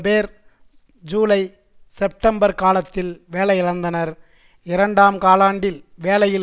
பேர் July September காலத்தில் வேலை இழந்தனர் இரண்டாம் காலாண்டில் வேலையில்